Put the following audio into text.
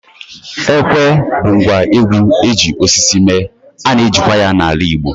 Ekwe bụ ngwa egwú eji osisi mee, ana eji kwa ya n'ala Igbo.